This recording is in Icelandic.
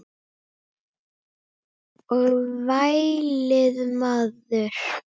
Og vælið maður.